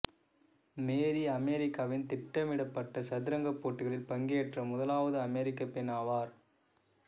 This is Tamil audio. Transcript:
மேரி அமெரிக்காவின் திட்டமிடப்பட்ட சதுரங்க போட்டிகளில் பங்கேற்ற முதலாவது அமெரிக்கப் பெண் ஆவார்